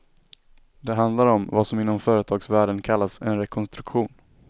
Det handlar om vad som inom företagsvärlden kallas en rekonstruktion.